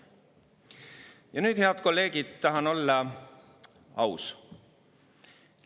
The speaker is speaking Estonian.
Ja nüüd, head kolleegid, tahan olla aus.